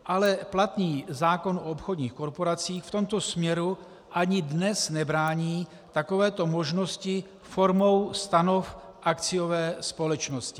Ale platný zákon o obchodních korporacích v tomto směru ani dnes nebrání takovéto možnosti formou stanov akciové společnosti.